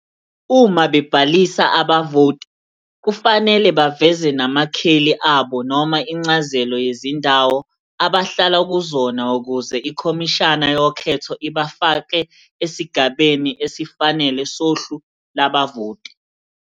Uma bebhalisa abavoti kufanele baveze namakheli abo noma incazelo yezindawo abahlala kuzona ukuze iKhomishana yoKhetho ibafake esigabeni esifanele sohlu lwabavoti.